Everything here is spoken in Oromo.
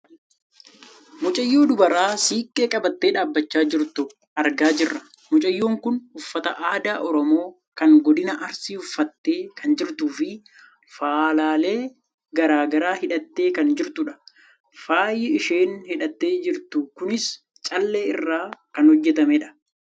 mucayyoo dubaraa siiqqee qabattee dhaabbachaa jirtu argaa jirra. mucayyoon kun uffataa aadaa oromoo kan godina arsii uffattee kan jirtuufi faalaalee gara garaa hidhattee kan jirtudha. faayi isheen hidhattee jirtu kunis callee irraa kan hojjatamedha.